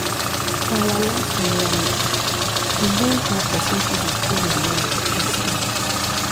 for our last area meeting we yarn how pesin fit dey cool hin mind and spirit.